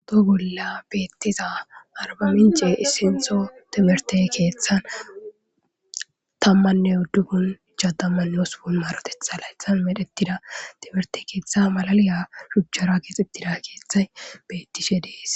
Toho bola betiza arbaminc'e issinto timirte ketha tamane udupun ishatamanne hospun maroteta laytan medhetida timirte ketha malaliya shuchara kexetida kethay betishe de'es.